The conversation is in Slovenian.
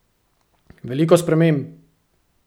Veliko sprememb!